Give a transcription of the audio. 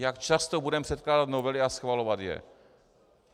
Jak často budeme předkládat novely a schvalovat je.